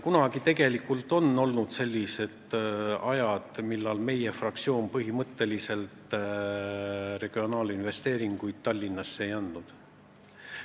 Kunagi on tegelikult olnud sellised ajad, millal meie fraktsioon põhimõtteliselt Tallinnale regionaalinvesteeringuid ei andnud.